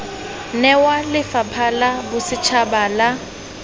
newa lephata la bosetshaba la